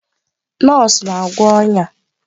Nọọsụ na-agwọ bụ ọnya.